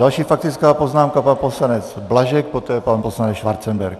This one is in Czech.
Další faktická poznámka pan poslanec Blažek, poté pan poslanec Schwarzenberg.